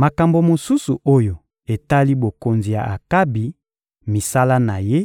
Makambo mosusu oyo etali bokonzi ya Akabi, misala na ye,